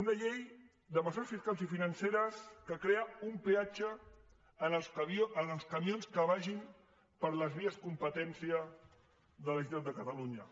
una llei de mesures fiscals i financeres que crea un peatge als camions que vagin per les vies competència de la generalitat de catalunya